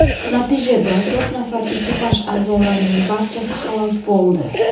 Natijada to‘rt nafar ekipaj a’zolarining barchasi halok bo‘ldi.